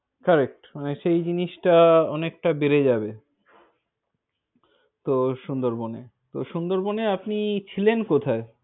Correct মানে সেই জিনিসটা অনেকটা বেড়ে যাবে। তো সুন্দরবনে। তো সুন্দরবনে তো সুন্দরবনে আপনি ছিলেন কোথায়?